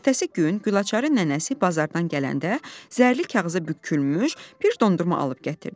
Ertəsi gün Gülaçarın nənəsi bazardan gələndə, zərli kağıza bükülmüş bir dondurma alıb gətirdi.